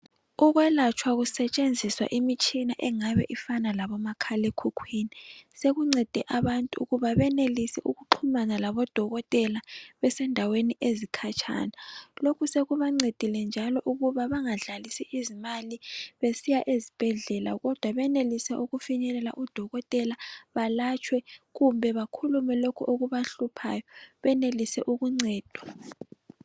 Ukwelatstshwa kusetshenziswa imitshina engabe ifana labomakhalekhukhwini sekuncede abantu ukba benelise baxhumane labodokotela besendaweni ezikhatshana lokhu sekubamcedile njalo ukuthi bangadlalisi izimali besiya ezibhedlela kodwa benelise ukufinywlela odokotela balatshwe kumbe bakhulume lokho okubahluphayo benelise ukuncedwa.